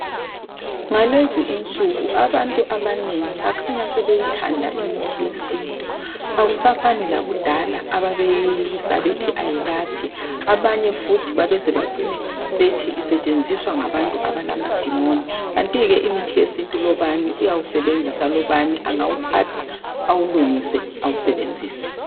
Ngalezi insuku abantu abanengi bakhanya sebeyithanda imithi yesintu. Akusafani lakudala ababeyeyisa bethi ayelaphi. Abanye futhi babeze bacine bethi isetshenziswa ngabantu abalamadimoni, kanti ke imithi yesintu lobani uyawusebenzisa lobani angawuthatha awulungise, awusebenzise.